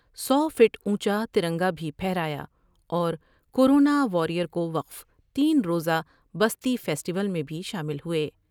سو feet اونچاتر نگا بھی پھہرایا اور کور و ناوار ئیر کو وقف تین روز وپستی فیسٹیول میں بھی شامل ہوۓ ۔